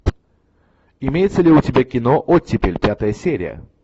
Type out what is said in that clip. имеется ли у тебя кино оттепель пятая серия